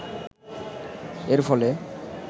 এর ফলে